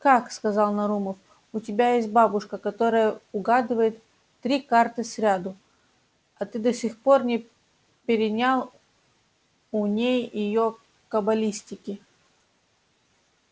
как сказал нарумов у тебя есть бабушка которая угадывает три карты сряду а ты до сих пор не перенял у ней её кабалистики